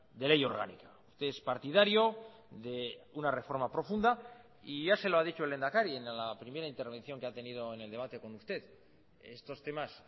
de ley orgánica usted es partidario de una reforma profunda y ya se lo ha dicho el lehendakari en la primera intervención que ha tenido en el debate con usted estos temas